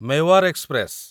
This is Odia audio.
ମେୱାର ଏକ୍ସପ୍ରେସ